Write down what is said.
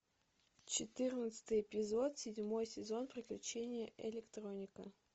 четырнадцатый эпизод седьмой сезон приключения электроника